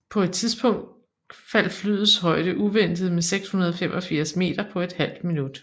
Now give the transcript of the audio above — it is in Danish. På et tidspunkt faldt flyets højde uventet med 685 meter på et halvt minut